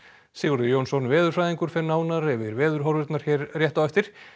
Sigurður Jónsson veðurfræðingur fer nánar yfir veðurhorfurnar hér rétt á eftir